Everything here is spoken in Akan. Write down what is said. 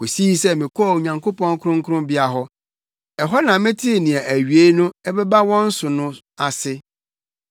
kosii sɛ mekɔɔ Onyankopɔn kronkronbea hɔ; ɛhɔ na metee nea awiei no ɛbɛba wɔn so no ase.